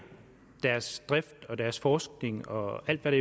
deres drift deres forskning og alt hvad